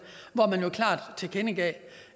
hvor man jo klart tilkendegav